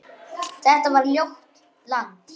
Þetta var ljótt land.